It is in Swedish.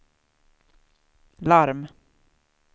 larm